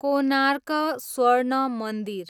कोनार्क स्वर्ण मन्दिर